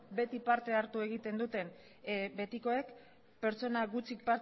beti parte hartu egiten duten betikoek pertsona gutxik